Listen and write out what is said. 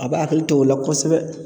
A b'a akili to o la kosɛbɛ